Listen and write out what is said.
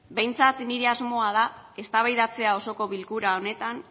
behintzat nire asmoa da eztabaidatzea osoko bilkura honetan